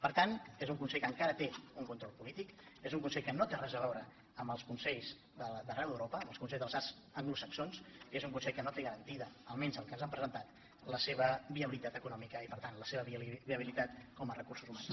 per tant és un consell que encara té un control polític és un consell que no té res a veure amb els consells d’arreu d’europa amb els consells de les arts anglosaxons i és un consell que no té garantida almenys pel que ens han presentat la seva viabilitat econòmica i per tant la seva viabilitat com a recursos humans